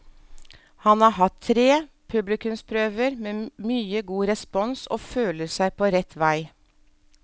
Han har hatt tre publikumsprøver med mye god respons og føler seg på rett vei.